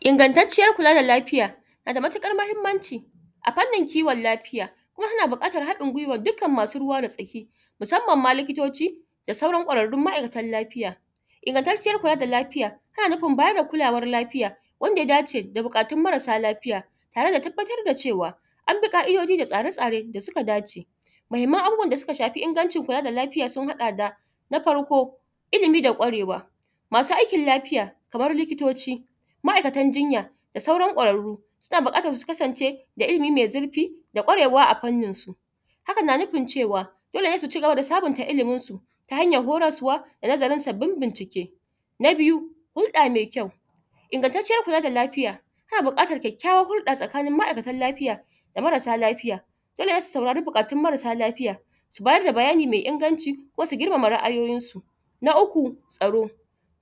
Ingattatcen kula da lafiya nada matuƙar mahimmanci a fannin kiwon lafiya, Kuma tana bukatar hadin guiwar duk masu ruwa da tsaki musamman ma likitoci da sauran kwararrun masu ruwa da tsaki. Ingattatciyar kula da lafiya tana nufin bayar da kulawa lafiya wanda ya dace da bukatun marasa lafiya tare da tabbatar da cewa an bi ka'idoji da tsare tsare da suka dace abubuwan da suka shafi inganci kula da lafiya sun hada da. Na farko ilimi da kwarewa masu aikin lafiya kamar likitoci ma'aikatan jinya da sauran kwararru suna bukatan su kasance da ilimi me zurfi da kwarewa a fannin su Hakan na nufin cewa dole ne su sabunta illimin su ta hanyan horaswa da nazarin sabbib bincike. Na biyu Hulɗa me kyau ingattatciyar kula da lafiya, ana bukatan kyakkyawar. Hulɗa Mai kyau ingantaciyar kula da lafiya tana bukatan kyakkyawar hulɗa tsakanin ma'aitan lafiya da marasa lafiya, yanda zasu saurari bayanan marasa lafiya su bada bayani mai inganci kuma su girmama ra'ayoyin su. Na uku tsaro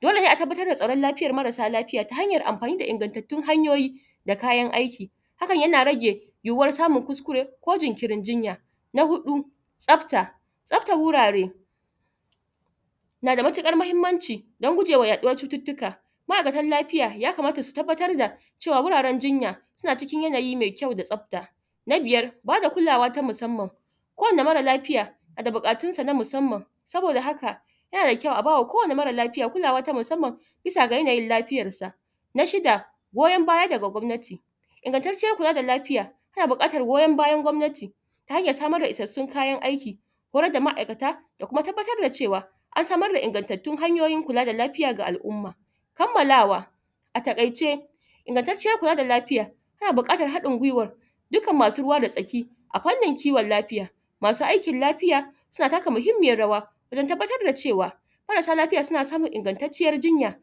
dole ne a tabbatar da tsarin marasa lafiya ta hanyan amfani da ingattattun hanyoyi da kayan aiki hakan yana rage yuwuwar samun kuskure ko jinkiri jinya. Na hudu tsafta, tsaftar wurare nada matukar mahimmanci dan gujewa yaɗuwa cututtuka ma'iakan lafiya ya kamata su tabbar da cewa wuraren jinya suna cikin yanayi me kyau da tsafta. Na biyar bada kulawa ta musamman kowani mara lafiya nada bukatun sa na musamman saboda haka yana da kyau a bawa kowani marasa lafiya kulawa ta musamman bisa ga yanayin lafiyar sa. Na shida goyon baya daga gwamnati ingattatciyar kula da lafiya tana bukatan goyon baya daga gwamnati ta hanyan samar da isassun kayan aiki, horar da ma'aikata da kuma tabbatar da cewa an samar da ingattattun hanyoyin kula da lafiya ga al umma. Kammalawa a taƙaice ingattatciyar kula da lafiya tana bukatar hadin guiwar dukkan masu ruwa da tsaki, a fannin kiwon lafiya masu aikin lafiya suna taka mahimiyyar rawa wajen tabbatar da cewa marasa lafiya suna samun ingantaciyar jinya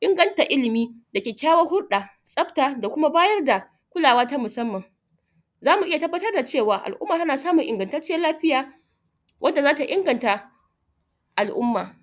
inganta ilimi da kyakkyawar hulɗa, tsafta da Kuma bayar da kulawa ta musamman. Zamu iyya tabbatar da cewa al umma tana samun ingantaciyar lafiya wanda zata inganta al umma.